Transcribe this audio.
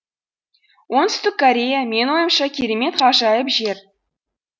оңтүстік корея менің ойымша керемет ғажайып жер